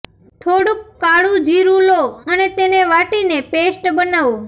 થોડુંક કાળુ જીરૂં લો અને તેને વાટીને પેસ્ટ બનાવો